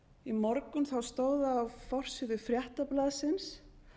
í morgun stóð á forsíðu fréttablaðsins